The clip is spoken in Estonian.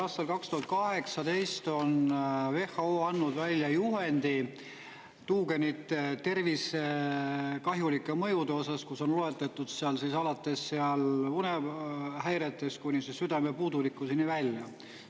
Aastal 2018 on WHO andnud välja juhendi tuugenite tervisekahjulike mõjude osas, kus on loetletud alates seal unehäiretest kuni südamepuudulikkuseni välja.